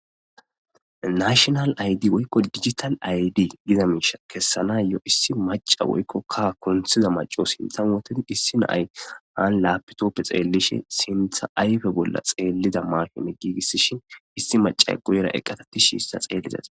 nashinal aydi woykko digital aydi giza miisha kessana yoo issi maca woykkokka kunthiza maco sintha wotedi issi naay an lapitoppe xeellishe sintha ayfe bolla xeellida mashome giigissishin issi macay guyera eqqatettishi issa xeellizati